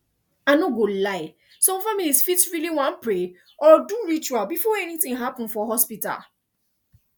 i no go lie some families fit really wan pray or do ritual before anything happen for hospital